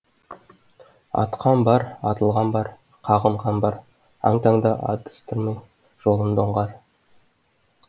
атқан бар атылған бар қағынған бар аң таңда адастырмай жолымды оңғар